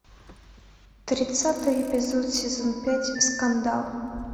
тридцатый эпизод сезон пять скандал